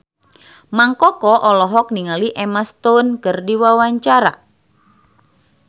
Mang Koko olohok ningali Emma Stone keur diwawancara